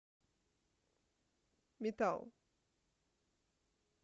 метал